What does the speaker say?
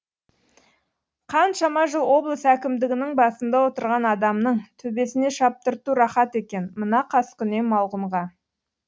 қаншама жыл облыс әкімдігінің басында отырған адамның төбесіне шаптырту рахат екен мына қаскүнем малғұнға